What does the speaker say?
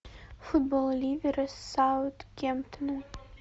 футбол ливера с саутгемптоном